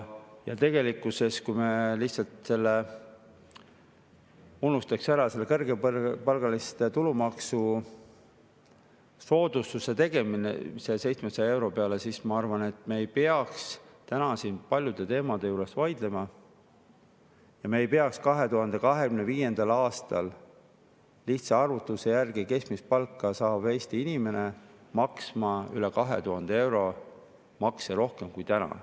Tegelikkuses, kui me lihtsalt unustaks ära selle kõrgepalgaliste tulumaksusoodustuste tegemise 700 euro peale, siis ma arvan, et me ei peaks täna siin paljude teemade puhul vaidlema ja ei peaks 2025. aastal keskmist palka saav Eesti inimene lihtsa arvutuse järgi maksma üle 2000 euro makse rohkem kui täna.